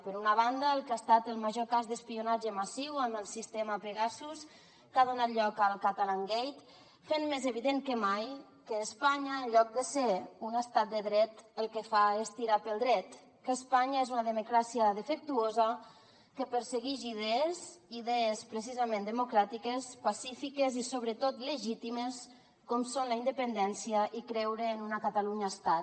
per una banda el que ha estat el major cas d’espionatge massiu amb el sistema pegasus que ha donat lloc al catalangate fent més evident que mai que espanya en lloc de ser un estat de dret el que fa és tirar pel dret que espanya és una democràcia defectuosa que perseguix idees idees precisament democràtiques pacífiques i sobretot legítimes com són la independència i creure en una catalunya estat